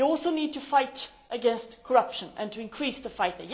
We also need to fight against corruption and to increase the fight.